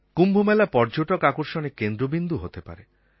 কুম্ভমেলা পর্যটক আকর্ষণের কেন্দ্রবিন্দু হতে পারে